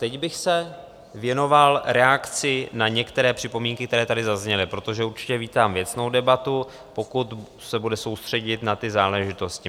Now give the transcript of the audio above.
Teď bych se věnoval reakci na některé připomínky, které tady zazněly, protože určitě vítám věcnou debatu, pokud se bude soustředit na ty záležitosti.